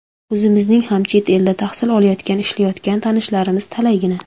O‘zimizning ham chet elda tahsil olayotgan, ishlayotgan tanishlarimiz talaygina.